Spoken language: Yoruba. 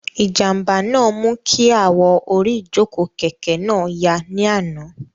Ìjànbá náà mú kí awọ orí ìjòkó kẹ̀kẹ́ náà ya ní àná